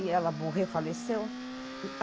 E ela morreu, faleceu.